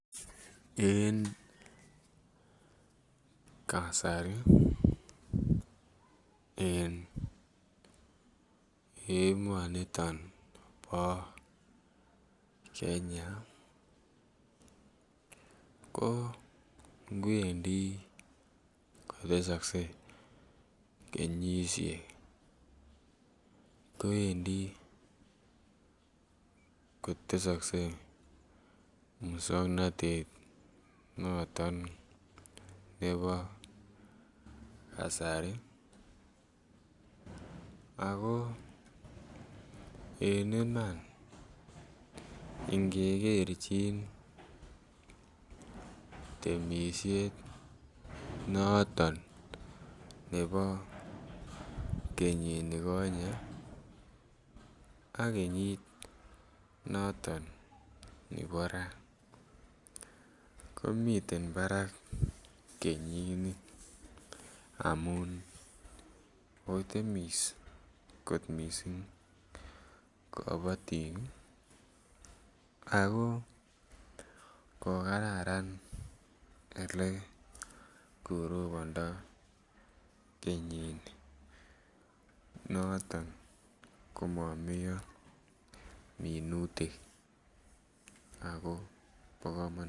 En kasari en emoni bo Kenya ko nguni kowendi kotesoksei kenyisiek kobendi kotesoksei moswoknatet noton nebo kasari ago en Iman ingekerchin temisiet noton nebo kenyinikonye ak kenyit noton nebo raa komiten barak kenyini amun kotemis kot mising kabatik ako ko Kararan Ole korobondo kenyini noton komomeyo minutik ako bo kamanut